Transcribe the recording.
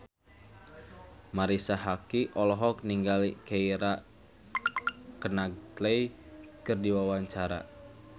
Marisa Haque olohok ningali Keira Knightley keur diwawancara